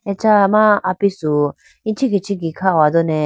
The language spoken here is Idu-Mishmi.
acha ma apisu ichikhi ichikhi kha hodane.